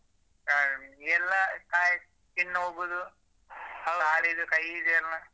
ಹ್ಮ್ ಎಲ್ಲ ಕಾಯಿಲೆ skin ಹೋಗುದು ಕಾಲಿದು ಕೈಯಿದ್ದೆಲ್ಲ.